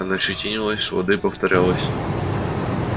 она щетинилась лады повторялось